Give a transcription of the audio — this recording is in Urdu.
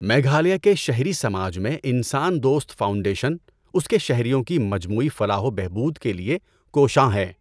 میگھالیہ کے شہری سماج میں انسان دوست فاؤنڈیشن اس کے شہریوں کی مجموعی فلاح و بہبود کے لیے کوشاں ہیں۔